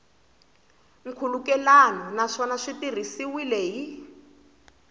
nkhulukelano naswona swi tirhisiwile hi